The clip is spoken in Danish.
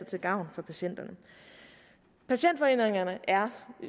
til gavn for patienterne patientforeningerne er